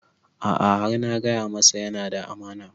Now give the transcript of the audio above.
A'a har na gaya masa yana da amana